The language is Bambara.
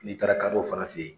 N'i taara kadɔw fana fɛ yen